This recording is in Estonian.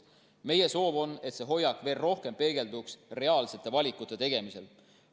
Meie soov on, et see hoiak veel rohkem peegelduks reaalsete valikute tegemisel.